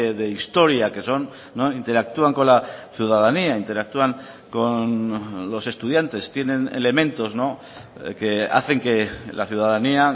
de historia que son interactúan con la ciudadanía interactúan con los estudiantes tienen elementos que hacen que la ciudadanía